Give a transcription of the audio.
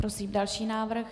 Prosím další návrh.